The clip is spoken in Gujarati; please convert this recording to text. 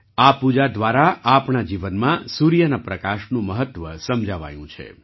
આ પૂજા દ્વારા આપણા જીવનમાં સૂર્યના પ્રકાશનું મહત્ત્વ સમજાવાયું છે